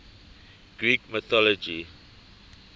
greek mythology